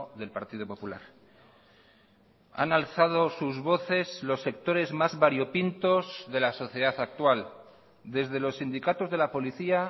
del partido popular han alzado sus voces los sectores más variopintos de la sociedad actual desde los sindicatos de la policía